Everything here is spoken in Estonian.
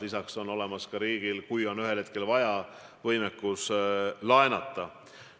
Lisaks on riigil võimekus laenata, kui ühel hetkel vaja.